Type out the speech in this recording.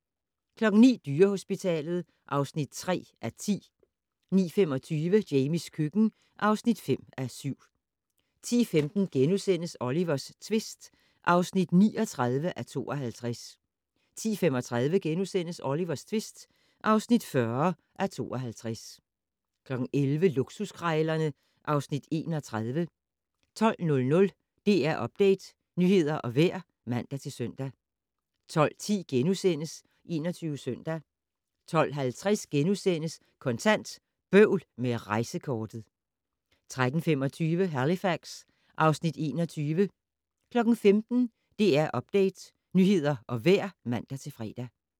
09:00: Dyrehospitalet (3:10) 09:25: Jamies køkken (5:7) 10:15: Olivers tvist (39:52)* 10:35: Olivers tvist (40:52)* 11:00: Luksuskrejlerne (Afs. 31) 12:00: DR Update - nyheder og vejr (man-søn) 12:10: 21 Søndag * 12:50: Kontant: Bøvl med rejsekortet * 13:25: Halifax (Afs. 21) 15:00: DR Update - nyheder og vejr (man-fre)